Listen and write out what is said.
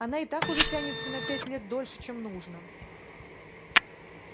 она и так уже тянется на пять лет дольше чем нужно